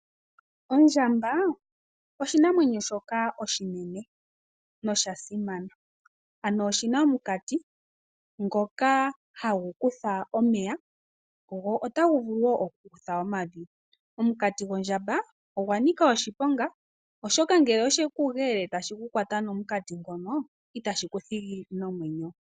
Ondjambaa, oshinamwenyo shoka oshinene no shasimana. Ano oshina omukati ngoka hagu kutha omeya go otagu vulu wo oku kutha omavi. Omukati go ndjamba ogwa nika oshipoka, oshoka ngele osheku geele ndele tashi kukwata nomukati ngono itashii kuthigi nomwenyo.